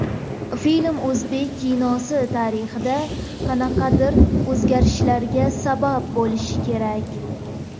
Film o‘zbek kinosi tarixida qanaqadir o‘zgarishlarga sabab bo‘lishi kerak.